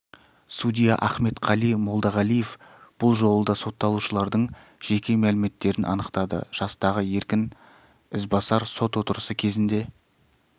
судья ахметқали молдағалиев бұл жолы да сотталушылардың жеке мәліметтерін анықтады жастағы еркін ізбасар сот отырысы кезінде